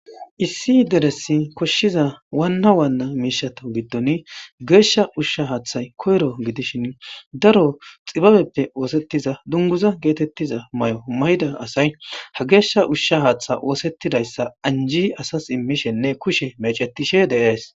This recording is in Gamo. Issi deresi koshshiza waanna waanna miishato giddon geeshsha ushsha haaththay koyro gidishin daro xibabeppe oosettiza dunguza geetettiza mayo mayida asay ha geeshsha ushsha haaththa oosettidayssa anji asas immishenne kushe mecetishe dees.